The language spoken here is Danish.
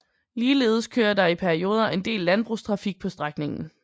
Ligeledes kører der i perioder en del landbrugstrafik på strækningen